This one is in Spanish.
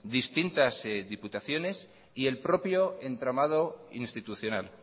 distintas diputaciones y el propio entramado institucional